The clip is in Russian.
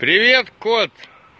привет